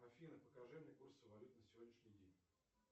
афина покажи мне курсы валют на сегодняшний день